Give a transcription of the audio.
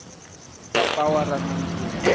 papawa ra nandziha